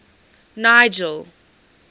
nigel